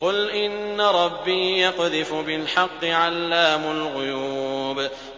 قُلْ إِنَّ رَبِّي يَقْذِفُ بِالْحَقِّ عَلَّامُ الْغُيُوبِ